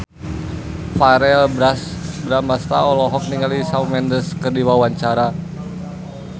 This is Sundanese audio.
Verrell Bramastra olohok ningali Shawn Mendes keur diwawancara